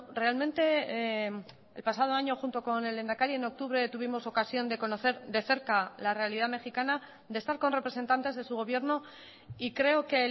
realmente el pasado año junto con el lehendakari en octubre tuvimos ocasión de conocer de cerca la realidad mexicana de estar con representantes de su gobierno y creo que